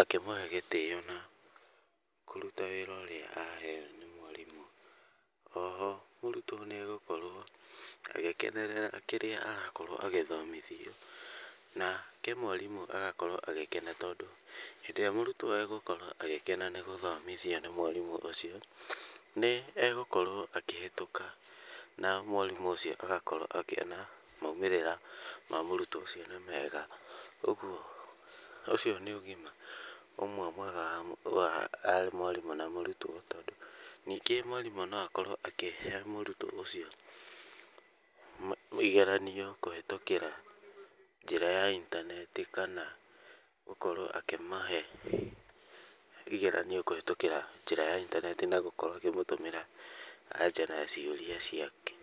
akĩmũhe gĩtĩo na kũruta wĩra ũrĩa aheo nĩ mwarimũ. O ho mũrutwo nĩ egũkorwo agĩkenerera kĩrĩa arakorũo agĩthomithio nake mwarimũ agakorwo agĩkena tondũ hĩndĩ ĩrĩa mũrutwo egũkorwo agĩkena nĩ gũthomithio nĩ mwarimũ ũcio, nĩ egũkorwo akĩhĩtũka na mwarimũ ũcio agakorwo akĩona moimĩrĩra ma mũrutwo ũcio nĩ mega. Ũguo ũcio nĩ ũgima ũmwe mwega wa mwarimũ na mũrutwo. Ningĩ mwarimũ no akorwo akĩhe mũrutwo ũcio mũigananio kũhĩtũkĩra njĩra ya intaneti kana gũkorwo akĩmahe igeranio kũhĩtũkĩra njĩra ya intaneti na gũkorwo akĩmũtũmĩra na anja na ciũria ciake.